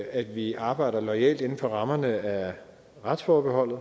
at vi arbejder loyalt inden for rammerne af retsforbeholdet